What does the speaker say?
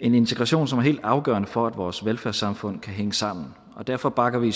en integration som er helt afgørende for at vores velfærdssamfund kan hænge sammen derfor bakker vi